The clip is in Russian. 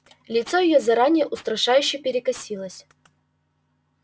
её лицо заранее устрашающе перекосилось